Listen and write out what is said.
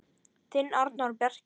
Þinn Arnór Bjarki.